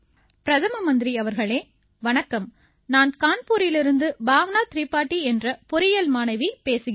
பிரதம மந்திரி அவர்களே வணக்கம் நான் கான்பூரிலிருந்து பாவ்னா திரிபாடீ என்ற பொறியியல் மாணவி பேசுகிறேன்